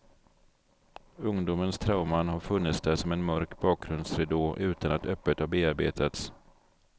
Ungdomens trauman har funnits där som en mörk bakgrundsridå utan att öppet ha bearbetats.